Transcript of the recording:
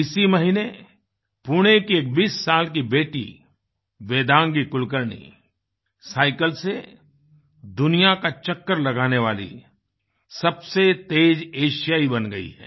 इसी महीने पुणे की एक 20 साल की बेटी वेदांगी कुलकर्णी साइकल से दुनिया का चक्कर लगाने वाली सबसे तेज एशियाई बन गयी हैं